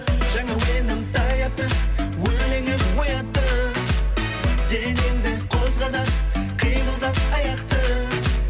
жаңа әуенім таяпты өлеңім оятты денеңді қозға да қимылдат аяқты